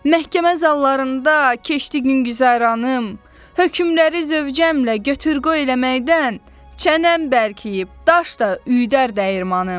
Məhkəmə zallarında keçdi gün güzəranım, hökmləri zövcəmlə götür qoy eləməkdən, çənəm bərkiyib, daş da üyüdər dəyirmanım.